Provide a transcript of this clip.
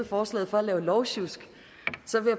forslaget for at lave lovsjusk